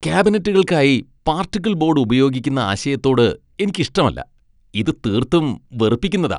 കാബിനറ്റുകൾക്കായി particle board ഉപയോഗിക്കുന്ന ആശയത്തോട് എനിക്ക് ഇഷ്ടമല്ല . ഇത് തീർത്തും വെറുപ്പിക്കുന്നതാ.